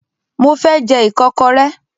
Mo fẹ́ jẹ́ Ìkọ́kọrẹ́